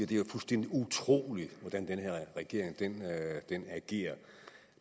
det er fuldstændig utroligt hvordan den her regering agerer